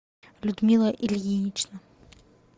людмила ильинична